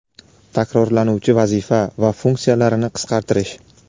takrorlanuvchi vazifa va funksiyalarini qisqartirish;.